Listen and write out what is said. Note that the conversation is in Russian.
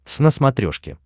твз на смотрешке